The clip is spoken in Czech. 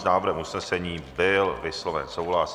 S návrhem usnesení byl vysloven souhlas.